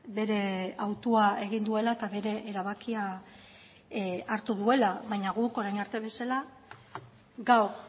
bere autua egin duela eta bere erabakia hartu duela baina guk orain arte bezala gaur